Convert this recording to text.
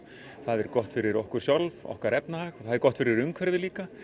það er gott fyrir okkur sjálf okkar efnahag og það er gott fyrir umhverfið líka